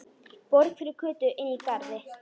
Borg fyrir Kötu inní garði.